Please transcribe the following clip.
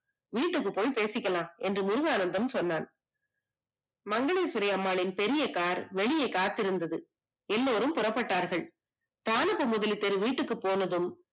வீட்டுக்கு போய் பேசிக்கலாம் என்று முருகானந்தம் சொன்னான். மங்களேஸ்வரிஅம்மாளின் பெரிய car வெளியே காத்திருந்தது எல்லோரும் புறப்பட்டார்கள் வீட்டுக்கு போனதும்